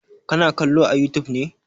Ka na kallo a youtube ne?